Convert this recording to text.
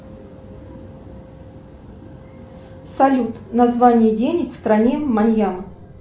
салют название денег в стране маньям